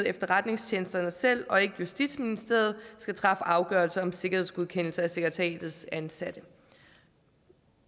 efterretningstjenesterne selv og ikke justitsministeriet skal træffe afgørelser om sikkerhedsgodkendelser af sekretariatets ansatte